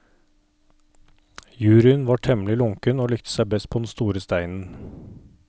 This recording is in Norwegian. Juryen var temmelig lunken og likte seg best på den store steinen.